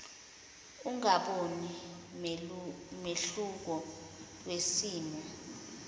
ungaboni mehluko wesimo